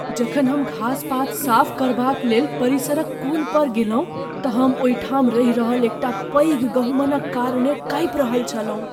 जखन हम घासपात साफ करबाक लेल परिसरक कोन पर गेलहुँ तऽ हम ओहिठाम रहि रहल एकटा पैघ गहुमनक कारणेँ काँपि रहल छलहुँ।